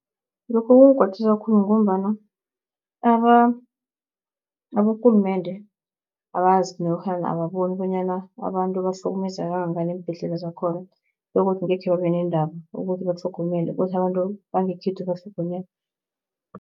Lokhu kungikwatisa khulu, ngombana abokulumende akazi nofana ababoni bonyana abantu bahlukumeza kangangani eembhedlela zakhona begodu ngekhe babe nendaba ukuthi batlhogonyelwe, kuthi abantu bangekhethu batlhogonyelwe.